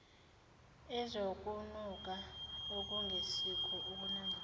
ezokunuka okungesikho ukunambitheka